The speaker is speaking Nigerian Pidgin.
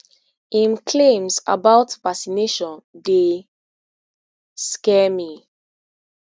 im claims about vaccination dey scare me